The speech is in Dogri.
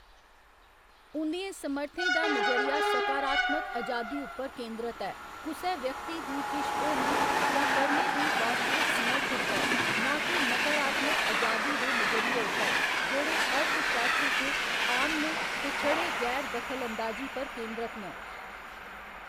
उं'दियें समर्थें दा नजरिया सकारात्मक अजादी उप्पर केंद्रत ऐ, कुसै व्यक्ति दी किश होने जां करने दी वास्तविक समर्थ उप्पर, नां के नकारात्मक अजादी दे नजरिये उप्पर, जेह्‌‌ड़े अर्थशास्त्र च आम न ते छड़े गैर दखलअंदाजी पर केंद्रत न।